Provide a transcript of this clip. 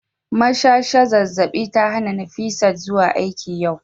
mashasha zazzabi ta hana Nifisat zuwa aiki yau